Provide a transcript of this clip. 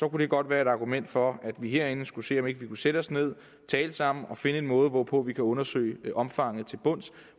det godt være et argument for at vi herinde skulle se om vi ikke kunne sætte os ned tale sammen og finde en måde hvorpå vi kan undersøge omfanget til bunds